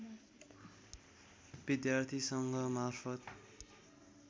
विद्यार्थी सङ्घ मार्फत